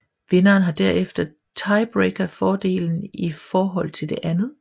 Vinderen har herefter tiebreakerfordelen i forhold til det andet